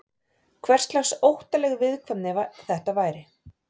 Hverslags óttaleg viðkvæmni þetta væri?